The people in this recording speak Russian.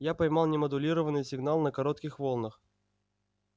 я поймал немодулированный сигнал на коротких волнах